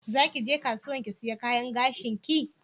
Zaki ge kasuwan ki siya kayan gashin ki?